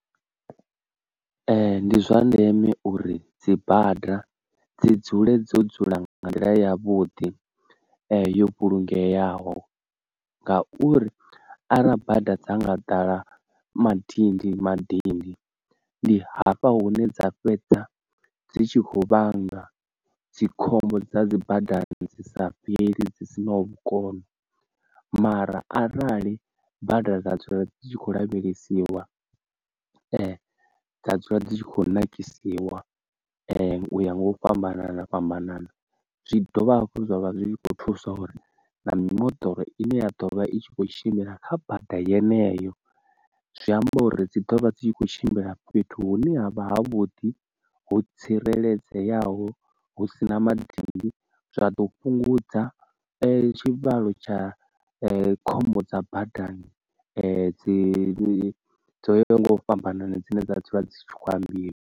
Ee ndi zwa ndeme uri dzi bada dzi dzule dzo dzula nga nga nḓila yavhuḓi yo vhulungeaho ngauri arali bada dza nga ḓala madindi madindi ndi hafha hune dza fhedza dzi tshi khou vhanga dzikhombo dza dzi badani dzi sa fheli dzi si naho vhukono, mara arali bada nadzo dzi tshi kho lavhelesiwa ee dza dzula dzi tshi kho nakisiwa uya nga u fhambana fhambana zwi dovha hafhu zwavha zwi kho thusa uri na mimoḓoro ine ya ḓovha i tshi kho tshimbila kha bada yeneyo zwi amba uri dzi dovha dzi tshi kho tshimbila fhethu hune havha ha vhuḓi ho tsireledzeaho hu sina madindi zwa ḓo fhungudza tshivhalo tsha khombo dza badani dzi dzo yaho nga u fhambanana dzine dza dzula dzi tshi kho ambiwa.